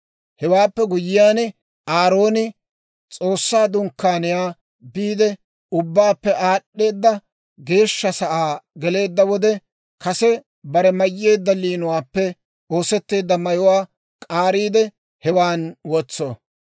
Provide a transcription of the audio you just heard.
«Hewaappe guyyiyaan, Aarooni S'oossaa Dunkkaaniyaa biide Ubbaappe Aad'd'eeda Geeshsha Sa'aa geleedda wode, kase bare mayyeedda liinuwaappe oosetteedda mayuwaa k'aariide hewaan wotso.